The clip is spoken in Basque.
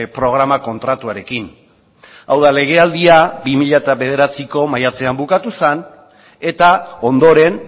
programa kontratuarekin hau da legealdia bi mila bederatziko maiatzean bukatu zen eta ondoren